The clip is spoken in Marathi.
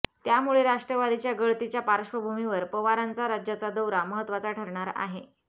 त्यामुळे राष्ट्रवादीच्या गळतीच्या पार्श्वभूमीवर पवारांचा राज्याचा दौरा महत्त्वाचा ठरणार आहे